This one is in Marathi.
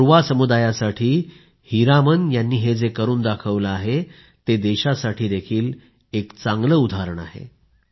कोरवा समुदायासाठी हीरामन यांनी जे करून दाखवलं आहे ते देशासाठी एक उदाहरण आहे